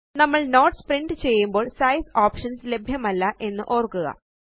നമ്മള് notes print ചെയ്യുമ്പോള് size options ലഭ്യമല്ല എന്ന് ഓര്ക്കുക